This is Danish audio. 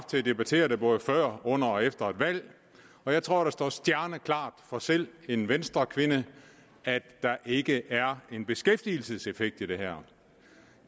til at debattere det både før under og efter et valg og jeg tror det står stjerneklart for selv en venstrekvinde at der ikke er en beskæftigelseseffekt i det her